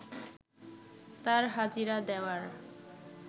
তাঁর হাজিরা দেওয়ার